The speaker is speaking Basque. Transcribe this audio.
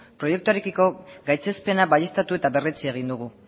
proiektuarekiko gaitzespena baieztatu eta berretsi egin dugu